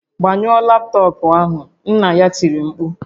"Gbanyụọ laptọọpụ ahụ!" Nna ya tiri mkpu "